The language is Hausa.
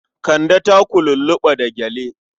Kande ta lulluɓa da gyale.